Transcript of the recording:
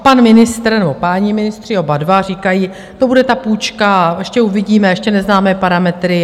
A pan ministr, nebo páni ministři, oba dva, říkají: To bude ta půjčka a ještě uvidíme, ještě neznáme parametry.